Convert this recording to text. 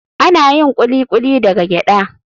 Ana yin Kuli kuli daga gyada.